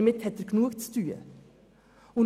Und damit hat er genug zu tun.